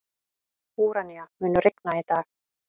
Úranía, mun rigna í dag?